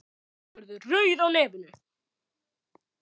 Hún verður rauð á nefinu.